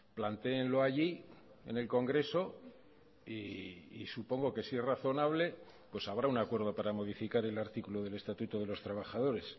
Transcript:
plantéenlo allí en el congreso y supongo que si es razonable pues habrá un acuerdo para modificar el artículo del estatuto de los trabajadores